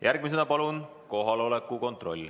Järgmisena palun kohaloleku kontroll.